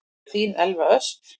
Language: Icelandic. Þín Elsa Ösp.